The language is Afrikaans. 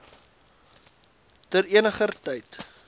ter eniger tyd